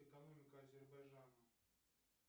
экономика азербайджана